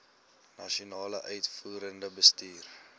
nasionale uitvoerende bestuur